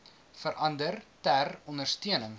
verander ter ondersteuning